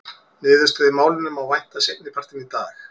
Niðurstöðu í málinu má vænta seinni partinn í dag.